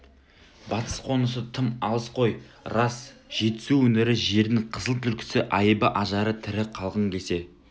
батыс қонысы тым алыс қой рас жетісу өңірі жердің қызыл түлкісі айыбы ажары тірі қалғың келсе